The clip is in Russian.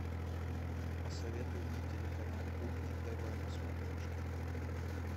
посоветуй мне телеканал кухня тв на смотрешке